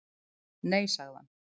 Nei, sagði hann.